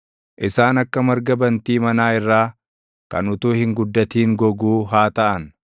Isaan akka marga bantii manaa irraa kan utuu hin guddatin goguu haa taʼan;